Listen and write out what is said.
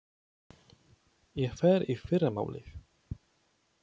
Ég fer í fyrramálið.